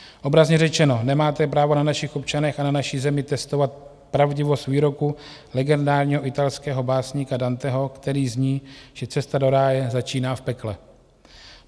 Obrazně řečeno, nemáte právo na našich občanech a na naší zemi testovat pravdivost výroku legendárního italského básníka Danteho, který zní, že cesta do ráje začíná v pekle.